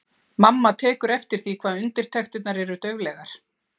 Mamma tekur eftir því hvað undirtektirnar eru dauflegar.